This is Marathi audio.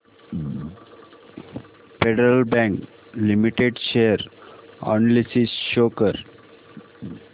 federal Bank Limited share analysis show कर